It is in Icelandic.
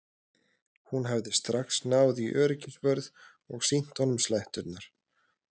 Hún hafði strax náð í öryggisvörð og sýnt honum sletturnar.